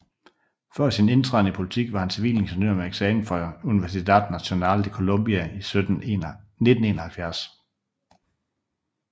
Før sin indtræden i politik var han civilingeniør med eksamen fra Universidad Nacional de Colombia i 1971